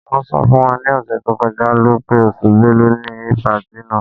Wọ́n sọ fún wa ni ọ̀sẹ̀ tó kọjá lọ́ pé oṣù Bẹ́lu ni patí náà.